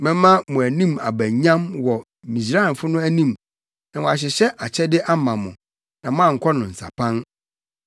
“Mɛma mo anim aba nyam wɔ Misraimfo no anim na wɔahyehyɛ akyɛde ama mo, na moankɔ no nsapan.